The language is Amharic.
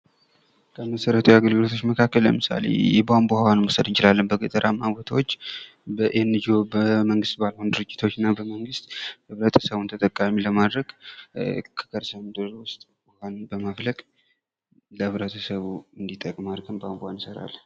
ከመሠረተ ልማት ስራዎች ውስጥ ምሳሌ የቧንቧ ውሃን መውሰድ እንችላለን። በገጠራማ ቦታዎች የመንግስታት ድርጅት ባልሆኑ እና በመንግስት ህብረተሰቡን ተጠቃሚ ለማድረግ ከከርሰ ምድር ውስጥ ውሃን በማፍለቅ የህብረተሰቡ እንዲጠቅም አድርገው ቧንቧን ይሰራሉ።